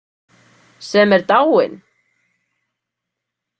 Sem er dáinn?